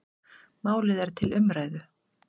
Málið er til umræðu.